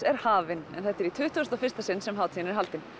er hafin en þetta er í tuttugasta og fyrsta sinn sem hátíðin er haldin